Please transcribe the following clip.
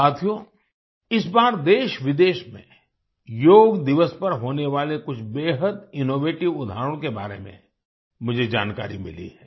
साथियो इस बार देशविदेश में योग दिवस पर होने वाले कुछ बेहद इनोवेटिव उदाहरणों के बारे में मुझे जानकारी मिली है